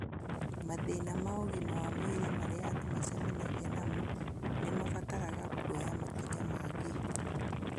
Mathĩna ma ũgima wa mwĩrĩ marĩa andũ macemanagia namo nĩ mabataraga kuoya makinya mangĩ.